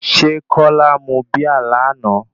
Ṣé Kọ́lá mu Bíà lánàá?